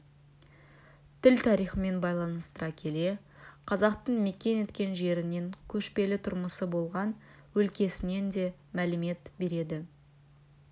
тіл тарихымен байланыстыра келе қазақтың мекен еткен жерінен көшпелі тұрмысы болған өлкесінен де мәлімет береді